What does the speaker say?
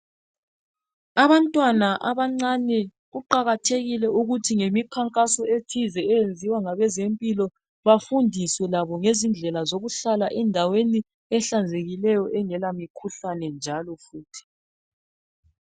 Abantu abancane kuqakathekile ukuthi ngemikhankaso ethize eyenziwa ngabezempilo bafundiswe labo ngezindlela zokuhlala endaweni ehlanzekileyo engela mikhuhlane.